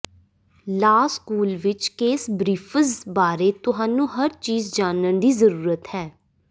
law school ਵਿਚ case briefs ਬਾਰੇ ਤੁਹਾਨੂੰ ਹਰ ਚੀਜ ਜਾਣਨ ਦੀ ਜ਼ਰੂਰਤ ਹੈ